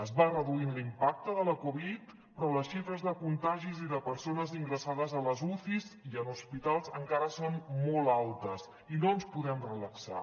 es va reduint l’impacte de la covid però les xifres de contagis i de persones ingressades a les ucis i en hospitals encara són molt altes i no ens podem relaxar